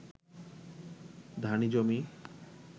ধানি জমি